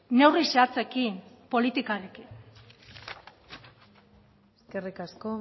neurri zehatzekin politikarekin eskerrik asko